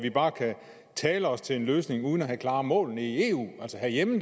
vi bare kan tale os til en løsning uden at have klare mål nede i eu altså herhjemme